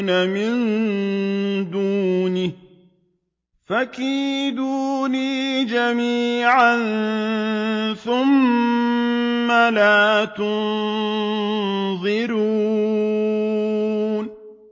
مِن دُونِهِ ۖ فَكِيدُونِي جَمِيعًا ثُمَّ لَا تُنظِرُونِ